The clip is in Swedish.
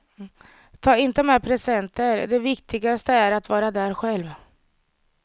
Ta inte med presenter, det viktigaste är att vara där själv.